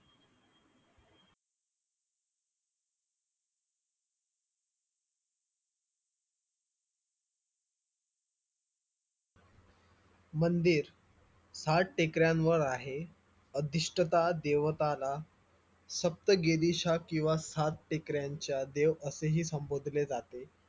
मंदिर हा टेकड्यांवर आहे अदिष्टता देवताला सप्तगेविषा किंवा सात टेकड्यांचा देव असेही संबोधले जाते